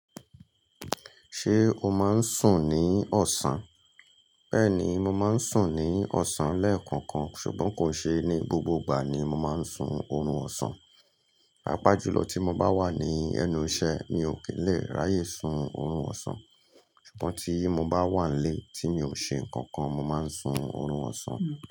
Ṣé o máa ń sùn ní ọ̀sán? Bẹ́ẹ̀ ni, mo máa ń sùn ní ọ̀sán lẹ́ẹ̀kọ̀kan, ṣùgbọ́n kò n ṣe ní gbogbo gbà ni mo máa ń sun oorun ọ̀sán. Paapá jù lọ tí mo bá wà ní ẹnu iṣẹ́ mi o ki n lè ráyè sun orun ọ̀sán. Ṣùgbọ́n tí mo bá wà nlé tí mi ò ṣe nǹkan kan, mo máa ń sun orun ọ̀sán.